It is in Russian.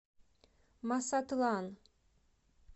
масатлан